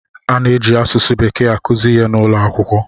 A na-eji asụsụ bekee akụzi ihe n'ụlọ akwụkwọ.